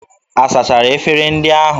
A sachara efere ndị ahụ?